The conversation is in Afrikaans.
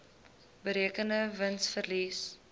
berekende wins verlies